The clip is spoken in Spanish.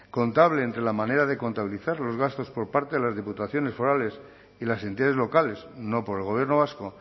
contable entre la manera de contabilizar los gastos por parte de las diputaciones forales y las entidades locales no por el gobierno vasco